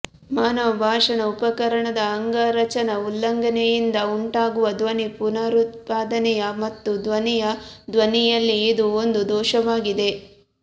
ಮಾನವ ಭಾಷಣ ಉಪಕರಣದ ಅಂಗರಚನಾ ಉಲ್ಲಂಘನೆಯಿಂದ ಉಂಟಾಗುವ ಧ್ವನಿ ಪುನರುತ್ಪಾದನೆ ಮತ್ತು ಧ್ವನಿಯ ಧ್ವನಿಯಲ್ಲಿ ಇದು ಒಂದು ದೋಷವಾಗಿದೆ